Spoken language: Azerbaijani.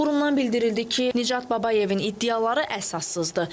Qurumdan bildirildi ki, Nicat Babayevin iddiaları əsassızdır.